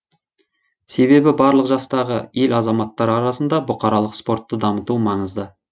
себебі барлық жастағы ел азаматтары арасында бұқаралық спортты дамыту маңызды